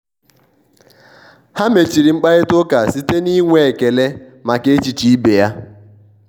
ha mechiri mkparịta ụka site n'inwe ekele maka echiche ibe ya.